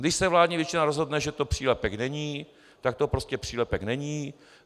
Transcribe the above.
Když se vládní většina rozhodne, že to přílepek není, tak to prostě přílepek není.